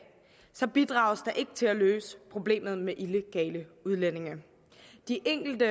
bidrages der ikke til at løse problemet med illegale udlændinge de enkelte